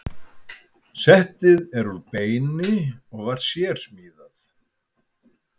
Settið er úr beini og var sérsmíðað.